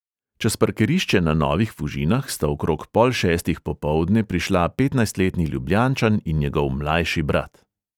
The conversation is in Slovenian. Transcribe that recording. Čez parkirišče na novih fužinah sta okrog pol šestih popoldne prišla petnajstletni ljubljančan in njegov mlajši brat.